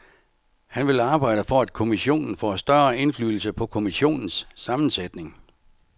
Han vil arbejde for, at kommissionen får større indflydelse på kommissionens sammensætning.